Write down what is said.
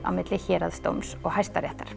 á milli héraðsdóms og Hæstaréttar